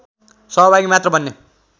सहभागी मात्र बन्ने